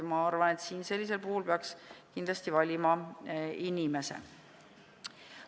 Mina arvan, et sellisel puhul peaks kindlasti valima inimese.